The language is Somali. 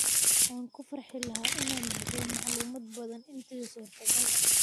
Waan ku farxi lahaa inaan bixiyo macluumaad badan intii suurtagal ah.